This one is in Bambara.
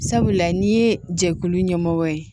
Sabula n'i ye jɛkulu ɲɛmɔgɔ ye